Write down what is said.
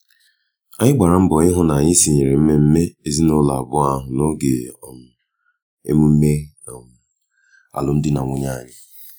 anyị gbara mbọ ihu na-anyị tinyere mmemme ezinụlọ abụọ ahụ n'oge um emume um alum dị na nwunye anyị